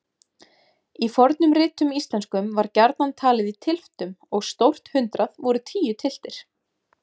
Í fornum ritum íslenskum var gjarnan talið í tylftum og stórt hundrað voru tíu tylftir.